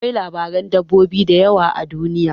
Akwai labaran dabbobi da yawa a duniya.